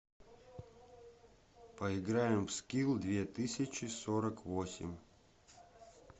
поиграем в скил две тысячи сорок восемь